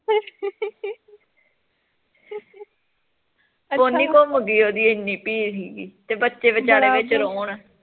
pony ਘੁਮਗੀ ਓਹਦੀ ਏਨੀ ਭੀੜ ਸੀਗੀ ਤੇ ਬੱਚੇ ਵਿਚਾਰੇ ਵਿੱਚ ਰੋਣ